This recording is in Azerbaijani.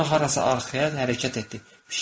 Sonra harasa arxaya hərəkət etdi.